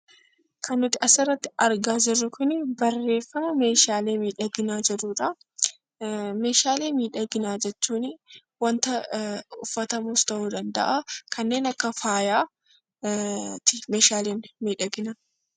Kan nuti asirratti argaa jirru kunii barreeffama 'meeshaalee miidhaginaa' jedhuu dha. Meeshaalee miidhaginaa jechuunii wanta uffatamus ta'uu danda'aa. Kanneen akka faayaati meeshaaleen miidhaginaa.